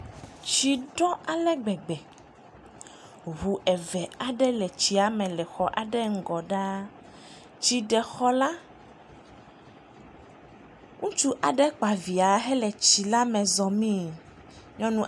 Tsi ɖɔ ale gbegbe, ŋu eve aɖe le tsia me le xɔ aɖe ŋgɔ ɖaa, tsi ɖe xɔ la, ŋutsu aɖe kpa via hele tsi la me zɔmii.